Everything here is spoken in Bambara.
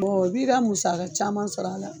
i bi ka musaka caman sɔrɔ a la.